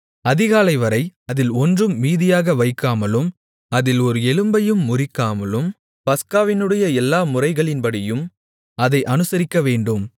அதிகாலைவரை அதில் ஒன்றும் மீதியாக வைக்காமலும் அதில் ஒரு எலும்பையும் முறிக்காமலும் பஸ்காவினுடைய எல்லா முறைகளின்படியும் அதை அனுசரிக்கவேண்டும்